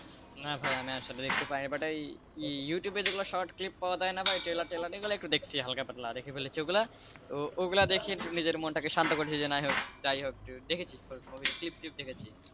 না ভাই আমি আসলে দেখতে পাইনি but ইউটিউবে যেগুলো short clip পাওয়া যায় না ভাই trailer trailer এগুলো একটু দেখছি হালকা-পাতলাদেখে ফেলেছি ওগুলো ওগুলো দেখে নিজের মনকে সান্ত্বনা করে ফেলেছিযাইহোক দেখেছি, movie clip দেখেছি,